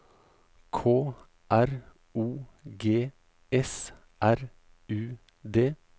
K R O G S R U D